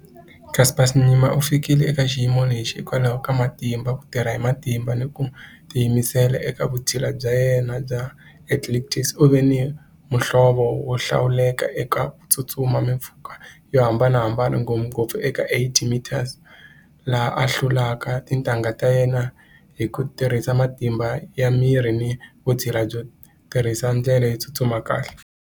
Caster Semenya u fikile eka xiyimo lexi hikwalaho ka matimba ku tirha hi matimba ni ku tiyimisela eka vusthila bya yena bya athletics u ve ni muhlovo wo hlawuleka eka ku tsutsuma mimpfhuka yo hambanahambana ngopfungopfu eka eight meters laha a hlulaka tintangha ta yena hi ku tirhisa matimba ya miri ni vutshila byo tirhisa ndlela yo tsutsuma kahle.